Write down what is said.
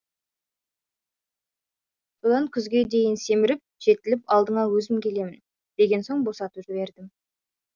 содан күзге дейін семіріп жетіліп алдыңа өзім келемін деген соң босатып жібердім